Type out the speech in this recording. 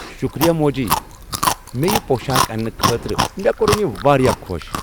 شکریہ موجی، مےٚ یہ پۄشاک اننہٕ خٲطرٕ، مےٚ کوٚرن یہ واریاہ خۄش۔